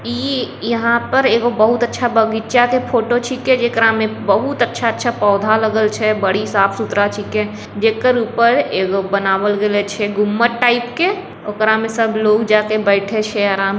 इ यहां पर एगो बहुत अच्छा बगीचा के फोटो छींके जे करा में बहुत अच्छा अच्छा पौधा लगल छै बड़ी साफ सुथरा छींके जे कर ऊपर एगो बनावल गेलों छै गुम्मब्बज टाइप के ओकरा में सब लोग जाय के बैठे छै आराम --